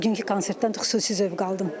Bugünkü konsertdən xüsusi zövq aldım.